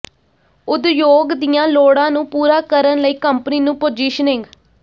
ਉਦਯੋਗ ਦੀਆਂ ਲੋੜਾਂ ਨੂੰ ਪੂਰਾ ਕਰਨ ਲਈ ਕੰਪਨੀ ਨੂੰ ਪੋਜੀਸ਼ਨਿੰਗ